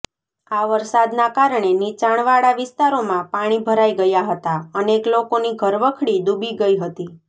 આ વરસાદના કારણે નીચાણવાળા વિસ્તારોમાં પાણી ભરાઈ ગયા હતા અનેક લોકોની ઘરવખરી ડૂબી ગઈ હતી